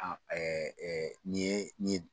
nin ye nin ye